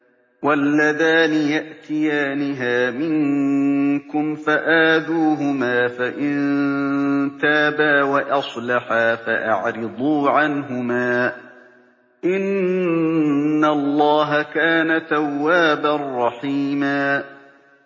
وَاللَّذَانِ يَأْتِيَانِهَا مِنكُمْ فَآذُوهُمَا ۖ فَإِن تَابَا وَأَصْلَحَا فَأَعْرِضُوا عَنْهُمَا ۗ إِنَّ اللَّهَ كَانَ تَوَّابًا رَّحِيمًا